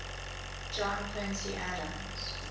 john quincy adams